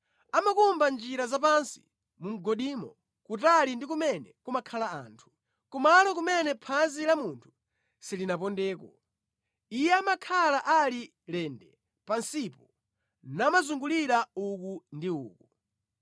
Amakumba njira zapansi mu mgodimo, kutali ndi kumene kumakhala anthu, kumalo kumene phazi la munthu silinapondeko; iye amakhala ali lende pansipo namazungulira uku ndi uku.